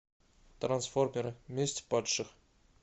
трансформеры месть падших